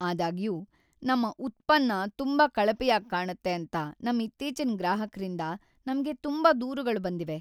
ಆದಾಗ್ಯೂ, ನಮ್ಮ ಉತ್ಪನ್ನ ತುಂಬಾ ಕಳಪೆಯಾಗಿ ಕಾಣತ್ತೆ ಅಂತ ನಮ್ಮ ಇತ್ತೀಚಿನ ಗ್ರಾಹಕ್ರಿಂದ ನಮ್ಗೆ ತುಂಬಾ ದೂರುಗಳು ಬಂದಿವೆ.